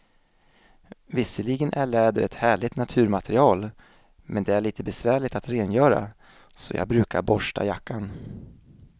Visserligen är läder ett härligt naturmaterial, men det är lite besvärligt att rengöra, så jag brukar borsta jackan.